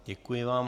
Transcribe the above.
Děkuji vám.